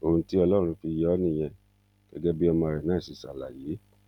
ohun tí ọlọrun fi yọ ọ nìyẹn gẹgẹ bí ọmọ rẹ náà ṣe ṣàlàyé